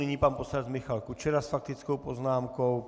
Nyní pan poslanec Michal Kučera s faktickou poznámkou.